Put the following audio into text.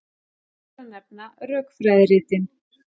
Fyrst ber að nefna rökfræðiritin.